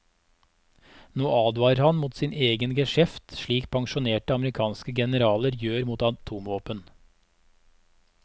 Nå advarer han mot sin egen geskjeft slik pensjonerte amerikanske generaler gjør mot atomvåpen.